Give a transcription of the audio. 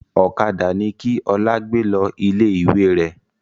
Ọ̀kadà ni kí Ọlá gbé lọ ilé ìwé rẹ̀!